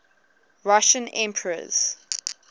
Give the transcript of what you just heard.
russian emperors